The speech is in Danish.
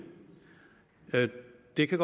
det kan